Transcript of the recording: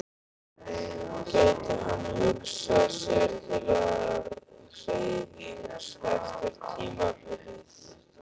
Gæti hann hugsað sér til hreyfings eftir tímabilið?